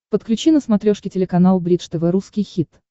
подключи на смотрешке телеканал бридж тв русский хит